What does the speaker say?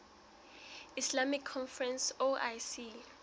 islamic conference oic